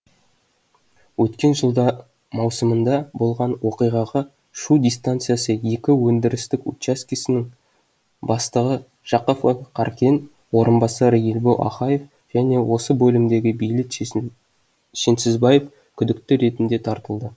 өткен жылдың маусымында болған оқиғаға шу дистанциясы екі өндірістік учаскесінің бастығы жақыпов қаркен орынбасары ербол ахаев және осы бөлімдегі бейбіт шенсізбаев күдікті ретінде тартылды